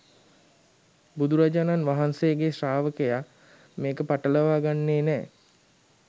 බුදුරජාණන් වහන්සේගේ ශ්‍රාවකයා මේක පටලව ගන්නෙ නෑ